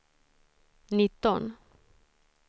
nitton